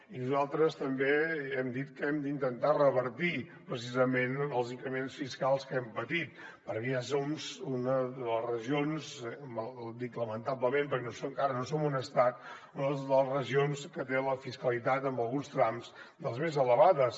i nosaltres també hem dit que hem d’intentar revertir precisament els increments fiscals que hem patit perquè ja som una de les regions lamentablement dic lamentablement perquè encara no som un estat que té la fiscalitat en alguns trams de les més elevades